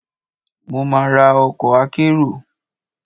Ó ma ra ọkọ̀ akérò.